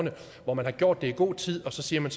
hvor man har gjort det i god tid og så siger man